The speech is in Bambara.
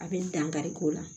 A bɛ n dangari k'o la